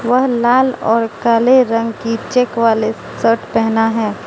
वह लाल और काले रंग की चेक वाले शर्ट पहेना है।